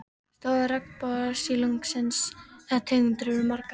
Stofnar regnbogasilungsins eða tegundir eru margar.